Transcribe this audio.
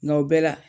Nka o bɛɛ la